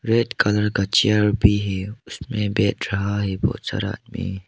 Red colour का chair भी है उसमें बैठ रहा है बहुत सारा आदमी।